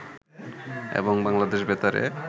এবং বাংলাদেশ বেতারে